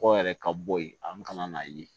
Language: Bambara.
Kɔgɔ yɛrɛ ka bɔ yen a bɛ ka na n'a ye